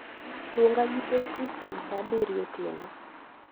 luonga gi teksi kuom saa abiriyo otieno